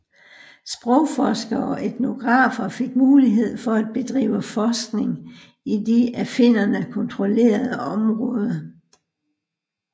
Sprogforskere og etnografer fik mulighed for at bedrive forskning i de af finnerne kontrollerede områder